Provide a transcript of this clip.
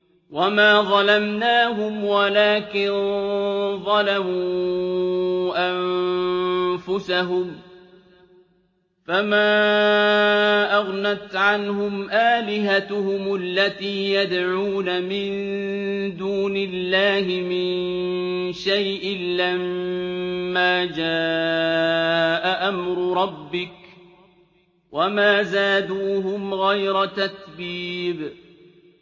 وَمَا ظَلَمْنَاهُمْ وَلَٰكِن ظَلَمُوا أَنفُسَهُمْ ۖ فَمَا أَغْنَتْ عَنْهُمْ آلِهَتُهُمُ الَّتِي يَدْعُونَ مِن دُونِ اللَّهِ مِن شَيْءٍ لَّمَّا جَاءَ أَمْرُ رَبِّكَ ۖ وَمَا زَادُوهُمْ غَيْرَ تَتْبِيبٍ